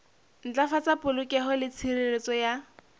ntlafatsa polokeho le tshireletso ya